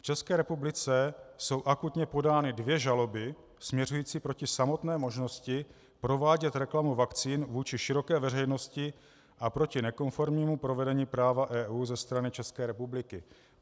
V České republice jsou akutně podány dvě žaloby směřující proti samotné možnosti provádět reklamu vakcín vůči široké veřejnosti a proti nekonformnímu provedení práva EU ze strany České republiky.